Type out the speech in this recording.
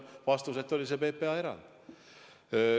Vastus on see, et tal oli PPA erand.